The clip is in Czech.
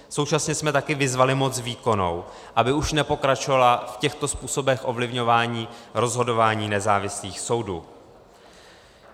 Současně jsme také vyzvali moc výkonnou, aby už nepokračovala v těchto způsobech ovlivňování rozhodování nezávislých soudů.